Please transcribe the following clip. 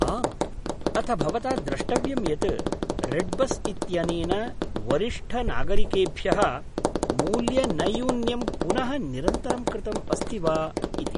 आम्, अथ भवता द्रष्टव्यं यत् रेड्बस् इत्यनेन वरिष्ठनागरिकेभ्यः मूल्यनैयून्यं पुनः निरन्तरं कृतम् अस्ति वा इति।